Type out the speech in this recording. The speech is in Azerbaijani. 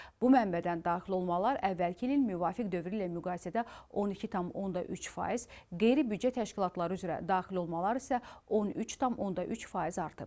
Bu mənbədən daxil olmalar əvvəlki ilin müvafiq dövrü ilə müqayisədə 12,3%, qeyri-büdcə təşkilatları üzrə daxil olmalar isə 13,3% artıb.